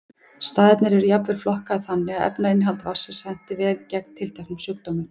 Staðirnir eru jafnvel flokkaðir þannig að efnainnihald vatnsins henti vel gegn tilteknum sjúkdómum.